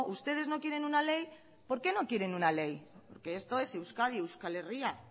ustedes no quieren una ley por qué no quieren una ley porque esto es euskadi euskal herria